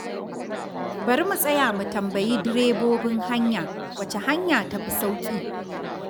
Bari mu tsaya mu tambayi direbobin haya wacce hanya ta fi sauƙi.